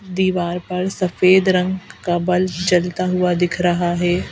दीवार पर सफेद रंग का बल्ब जलता हुआ दिख रहा है।